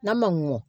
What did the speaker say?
N'a ma mɔ